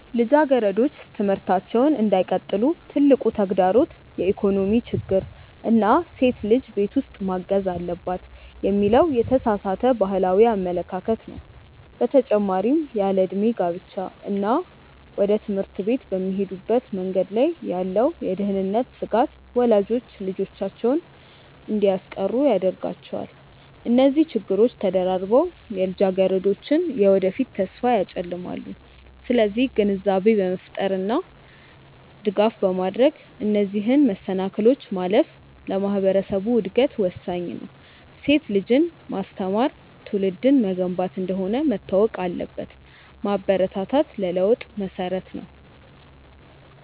ልጃገረዶች ትምህርታቸውን እንዳይቀጥሉ ትልቁ ተግዳሮት የኢኮኖሚ ችግር እና ሴት ልጅ ቤት ውስጥ ማገዝ አለባት የሚለው የተሳሳተ ባህላዊ አመለካከት ነው። በተጨማሪም ያለዕድሜ ጋብቻ እና ወደ ትምህርት ቤት በሚሄዱበት መንገድ ላይ ያለው የደህንነት ስጋት ወላጆች ልጆቻቸውን እንዲያስቀሩ ያደርጋቸዋል። እነዚህ ችግሮች ተደራርበው የልጃገረዶችን የወደፊት ተስፋ ያጨልማሉ። ስለዚህ ግንዛቤ በመፍጠር እና ድጋፍ በማድረግ እነዚህን መሰናክሎች ማለፍ ለማህበረሰቡ እድገት ወሳኝ ነው። ሴት ልጅን ማስተማር ትውልድን መገንባት እንደሆነ መታወቅ አለበት። ማበረታታት ለለውጥ መሰረት ነው።